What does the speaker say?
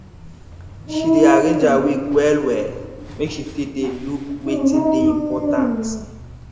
she dey arrange her week wellwell make she fit dey look wetin dey important